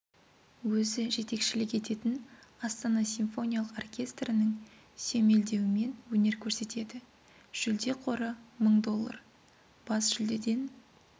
өзі жетекшілік ететін астана симфониялық оркестрінің сүйемелдеуімен өнер көрсетеді жүлде қоры мың доллар бас жүлдеден